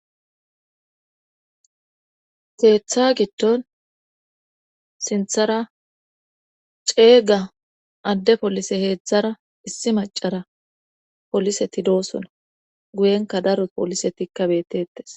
Ketha gidon sinthara cega ade polise hezhzhara issi macara poliseti dosona guyeraka daro poliseti betetes